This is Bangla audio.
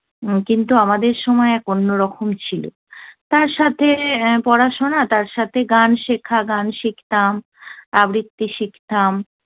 কিন্তু আমাদের সময় অন্যরকম ছিল। তার সাথে পড়াশোনা, ্তার সাথে গান শেখা- গান শিখতাম। আবৃত্তি শিখতাম।